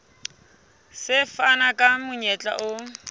se fana ka monyetla o